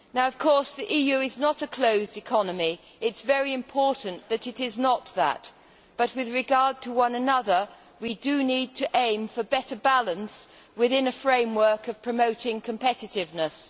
Now of course the EU is not a closed economy and it is very important that it is not but, with regard to one another, we need to aim for better balance within a framework of promoting competitiveness.